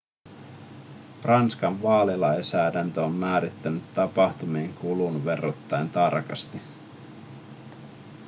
ranskan vaalilainsäädäntö on määrännyt tapahtumien kulun verrattain tarkasti